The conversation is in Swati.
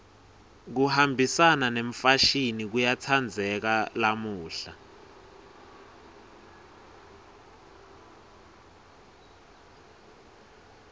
kuhambisana nemfashini kuyatsandzeka lamuhla